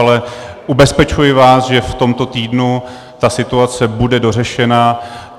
Ale ubezpečuji vás, že v tomto týdnu ta situace bude dořešena.